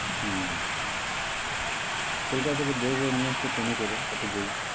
হম কোলকাতা থেকে বয়ে বয়ে নিয়ে আসতো train এ করে অত বই